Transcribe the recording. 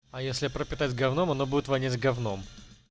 а если пропитать говном она будет воняет говном